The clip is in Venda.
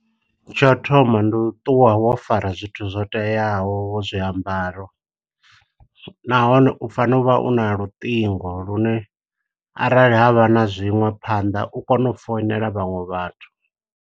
Tsho u thoma ndi ṱuwa wo fara zwithu zwo teaho, zwiambaro. Nahone u fana uvha una luṱingo lune, arali havha na zwiṋwe phanḓa u kone u founela vhaṅwe vhathu.